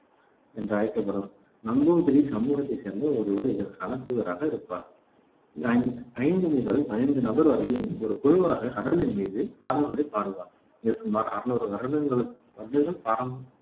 என்று அழைக்கப்படும் நம்பூதிரி சமூகத்தைச் சேர்ந்த ஒருவர் இதற்கான தூதராக இருப்பார் அ ஐந்து முதல் பதினைந்து நபர் வரையில் ஒரு குழுவாக கடவுளின் மீது பாடல்களைப் பாடுவர். இது சுமார் அறுநூறு வருடங்களுக்கு வருடங்கள் பாரம்